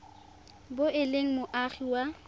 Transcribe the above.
bo e le moagi wa